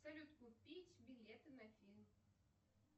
салют купить билеты на фильм